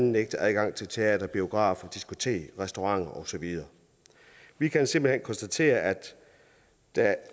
nægtet adgang til teatre biografer diskoteker restauranter og så videre vi kan simpelt hen konstatere at der